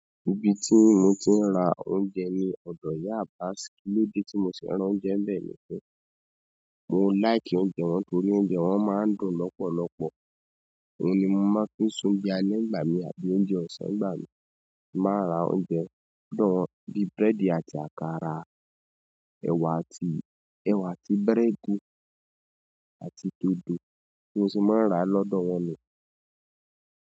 Ibi tí mo ti ń ra oúnjẹ ni ọ̀dọ̀ Ìyá Abas, kilode tí mo sẹ nra oúnjẹ nbẹ́ ni pe. Mò n láìkì oúnjẹ wọn torí oúnjẹ wọn máa ń dùn lọpọlọpọ. Óun ni mo máa ń fi se oúnjẹ alẹ́ nígbà mi àbí oúnjẹ ọ̀sán nígbà mí. Máa ra oúnjẹ bíi búrẹ́dì àti àkàrà, ẹ̀wà àti, ẹ̀wà àti burèèdì àti dòdò bi mo ṣé máa ń rà lọ́dọ̀ wọn nu.